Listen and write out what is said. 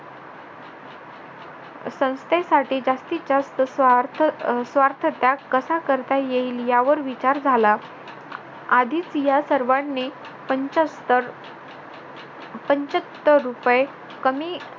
संस्थेसाठी जास्तीचा स्वार्थ त्याग कसा करता येईल यावर विचार झाला आधीच या सर्वांनी पंचाहत्तर पंचाहत्तर रुपये कमी